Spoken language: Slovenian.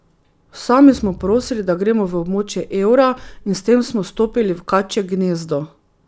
Sami smo prosili, da gremo v območje evra in s tem smo stopili v kačje gnezdo.